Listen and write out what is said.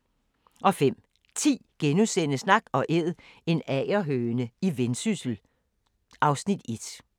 05:10: Nak & Æd – en agerhøne i Vendsyssel (Afs. 1)*